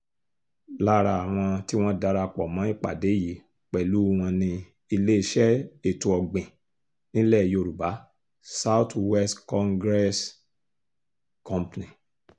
lára àwọn tí wọ́n darapọ̀ mọ ìpàdé yìí pẹ̀lú wọn ni iléeṣẹ́ ètò ọ̀gbìn nílẹ̀ yorùbá south west congressl company